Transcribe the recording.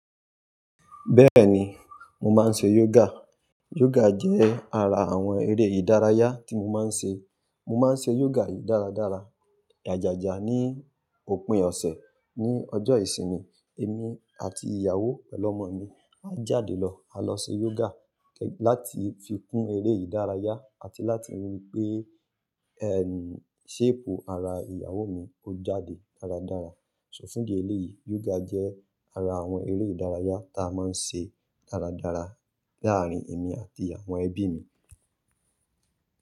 Bẹ́ẹ̀ni, mo máa ń ṣe yoga. Yoga jẹ́ ara àwọn eré ìdárayá tí mo máa ń ṣe. Mo máa ń ṣe yoga yìí dáradára. Ajájà ní òpin ọ̀sẹ̀ ní ọjọ́ ìsinmi, èmi àti ìyàwó pẹ̀lú ọ̀mọ mi án jáde lọ, á lọ ṣe yoga láti fi kún eré ìdárayá àti láti rí pé, ṣéèpù ara ìyàwó mi ó jáde dáradára. So fún idi èlé yìí, yoga jẹ́ ara àwọn eré ìdárayá tá mọń ṣe dáradára láàárín èmi àti àwọn ẹbi mi.